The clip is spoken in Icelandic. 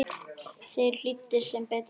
Þeir hlýddu, sem betur fer